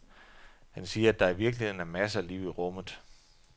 Han siger, at der i virkeligheden er masser af liv i rummet.